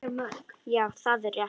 Já, það er rétt.